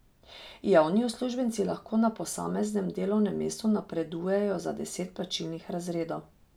Javni uslužbenci lahko na posameznem delovnem mestu napredujejo za deset plačnih razredov.